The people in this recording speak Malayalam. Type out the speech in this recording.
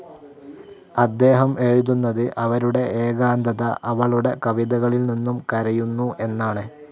അദ്ദേഹം എഴുതുന്നത്, അവരുടെ ഏകാന്തത അവളുടെ കവിതകളിൽനിന്നും കരയുന്നു എന്നാണ്.